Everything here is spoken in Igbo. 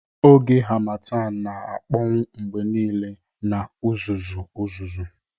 Oge Harmattan na-akpọnwụ mgbe niile na uzuzu uzuzu